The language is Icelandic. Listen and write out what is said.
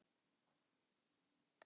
hann er silfri þakinn